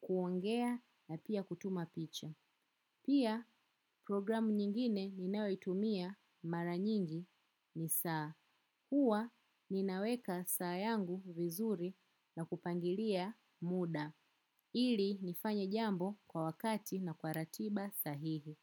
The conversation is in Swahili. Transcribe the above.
kuongea na pia kutuma picha. Pia programu nyingine ninayoitumia mara nyingi ni saa. Huwa ni naweka saa yangu vizuri na kupangilia muda. Ili nifanye jambo kwa wakati na kwa ratiba sahihi.